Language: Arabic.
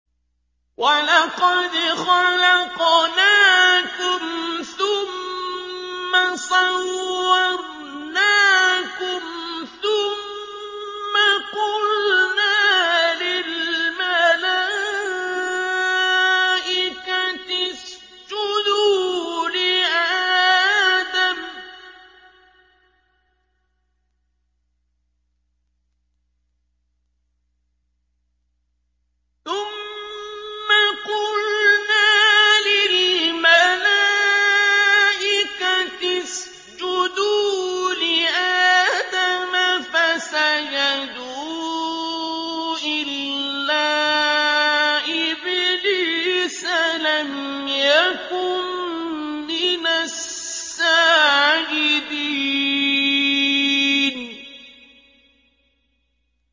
وَلَقَدْ خَلَقْنَاكُمْ ثُمَّ صَوَّرْنَاكُمْ ثُمَّ قُلْنَا لِلْمَلَائِكَةِ اسْجُدُوا لِآدَمَ فَسَجَدُوا إِلَّا إِبْلِيسَ لَمْ يَكُن مِّنَ السَّاجِدِينَ